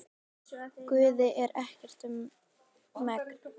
Guði er ekkert um megn.